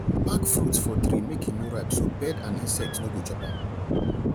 pack fruits for tree make e no ripe so bird and insect no go chop am